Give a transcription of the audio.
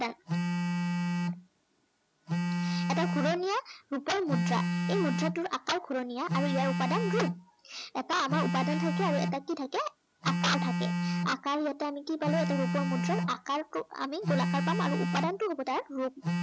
এটা ঘূৰণীয়া ৰূপৰ মুদ্ৰা। এই মুদ্ৰাটোৰ আকাৰ ঘূৰণীয়া আৰু ইয়াৰ উপাদান ৰূপ। এটা আমাৰ উপাদান থাকে আৰু এটা কি থাকে আকাৰ থাকে। আকাৰ এটা আমি কি পালো এটা ৰূপৰ মুদ্ৰাৰ আকাৰটোক আমি গোলাকাৰ পাম আৰু উপাদানটো হ'ব তাৰ ৰূপ।